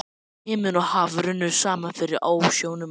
Himinn og haf runnu saman fyrir ásjónum manna.